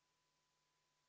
Kell on 13.43.